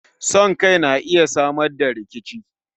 Son Kai na iya Samar da rikici